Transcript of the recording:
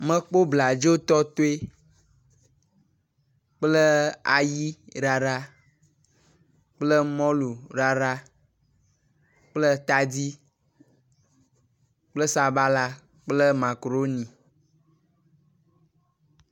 Mekpɔ bladzo tɔtoe kple ayi ɖaɖa kple mɔlu ɖaɖa kple tadi kple sabala kple makaroni.